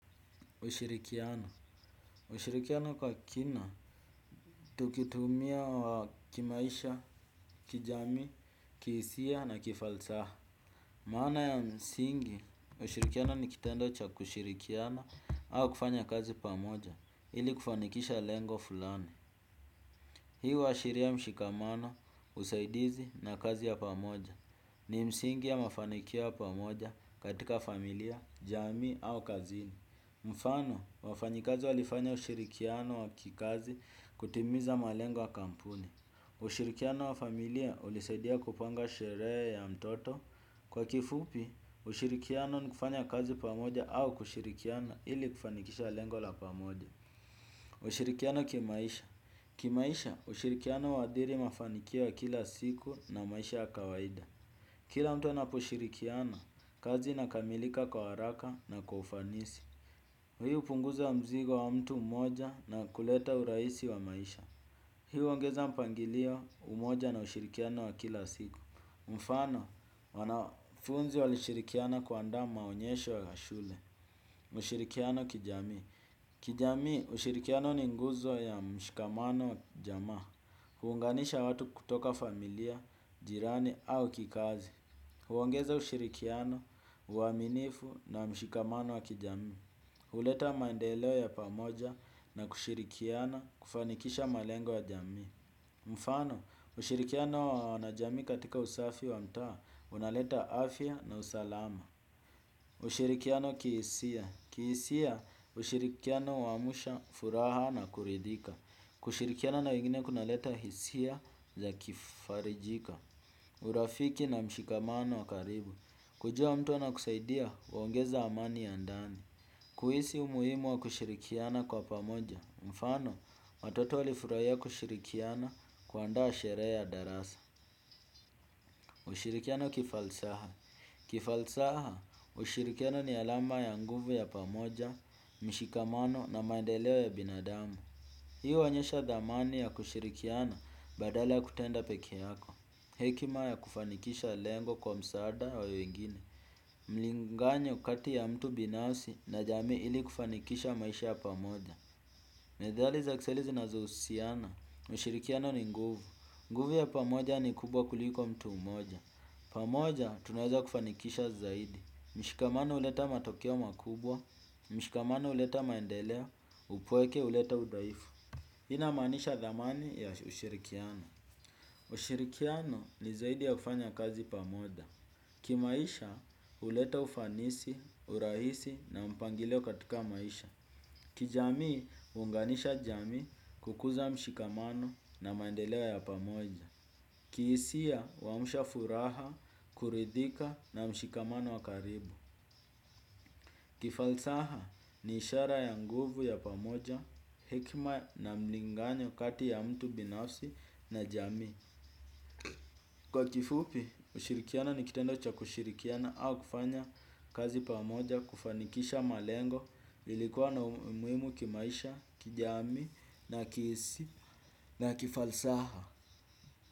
Ushirikiano ushirikiano kwa kina, tukitumia kimaisha, kijamii, kihisia na kifalsaha. Maana ya msingi, ushirikiano ni kitendo cha kushirikiana au kufanya kazi pamoja ili kufanikisha lengo fulani. Hii huashiria mshikamano, usaidizi na kazi ya pamoja. Ni msingi ya mafanikio ya pamoja katika familia, jamii au kazini. Mfano, wafanyikazi walifanya ushirikiano wa kikazi kutimiza malengo ya kampuni. Ushirikiano wa familia ulisaidia kupanga sherehe ya mtoto. Kwa kifupi, ushirikiano ni kufanya kazi pamoja au kushirikiana ili kufanikisha lengo la pamoja. Ushirikiano kimaisha kimaisha, ushirikiano huathiri mafanikio ya kila siku na maisha ya kawaida. Kila mtu anaposhirikiana, kazi inakamilika kwa haraka na kwa ufanisi. Hii hupunguza mzigo wa mtu mmoja na kuleta urahisi wa maisha. Hii huongeza mpangilio umoja na ushirikiano wa kila siku. Mfano, wanafunzi walishirikiana kuandaa maonyesho ya shule. Mashirikiano kijamii. Kijami, ushirikiano ni nguzo ya mshikamano jamaa. Huunganisha watu kutoka familia, jirani au kikazi. Huongeza ushirikiano, uaminifu na mshikamano wa kijamii. Huleta maendeleo ya pamoja na kushirikiana kufanikisha malengo ya jamii. Mfano, ushirikiano wa wanajamii katika usafi wa mtaa, unaleta afya na usalama. Ushirikiano kihisia. Kihisia, ushirikiano huamsha, furaha na kuridhika. Kushirikiana na wengine kunaleta hisia za kifarijika. Urafiki na mshikamano wa karibu. Kujua mtu anakusaidia, huongeza amani ya ndani. Kuhisi umuhimu wa kushirikiana kwa pamoja, mfano, watoto walifurahia kushirikiana kuandaa sherehe ya darasa. Ushirikiano kifalsaha kifalsaha, ushirikiano ni alama ya nguvu ya pamoja, mshikamano na maendeleo ya binadamu. Hii huonyesha dhamani ya kushirikiana badala ya kutenda pekeyako. Hekima ya kufanikisha lengo kwa msaada wa wengine. Mlinganyo kati ya mtu binafsi na jamii ili kufanikisha maisha ya pamoja methali za kiswahili zinazo husiana ushirikiano ni nguvu nguvu ya pamoja ni kubwa kuliko mtu mmoja. Pamoja tunaweza kufanikisha zaidi. Mshikamano huleta matokeo makubwa. Mshikamano huleta maendeleo. Upweke huleta udhaifu hii inamaanisha dhamani ya ushirikiano. Ushirikiano ni zaidi ya kufanya kazi pamoja. Kimaisha huleta ufanisi, urahisi na mpangilio katika maisha. Kijamii huunganisha jamii kukuza mshikamano na maendeleo ya pamoja. Kihisia huamsha furaha, kuridhika na mshikamano wa karibu. Kifalsaha ni ishara ya nguvu ya pamoja, hekima na mlinganyo kati ya mtu binafsi na jamii kwa kifupi, ushirikiano ni kitendo cha kushirikiana au kufanya kazi pamoja, kufanikisha malengo, ili kuwa na umuhimu kimaisha, kijamii, na kihisia, na kifalsaha.